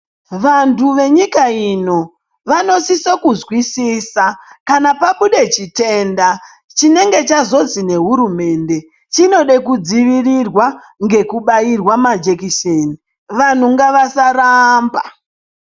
Vantu venyika ino vanosisa kunzwisisa kana pabuda chitenda. Chinenge chazozwi ngehurumende chinoda kudzivirirwa ngekubairwa majekiseni vanhu ngavasaramba.